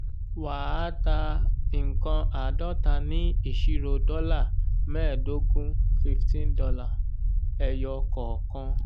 wà á ta nkán àádọta ní ìṣirò dọ́là mẹẹdogun ($15) ẹyọ kọọkan.